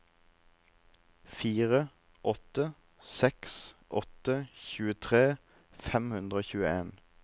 fire åtte seks åtte tjuetre fem hundre og tjueen